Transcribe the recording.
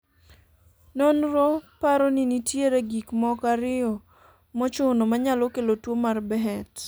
nonro paro ni nitiere gik moko ariyo mochuno manyalo kelo tuo mar Behet